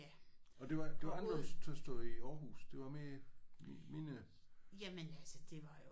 Og det var det var anderledes tilstande i Aarhus? Det var mere mindre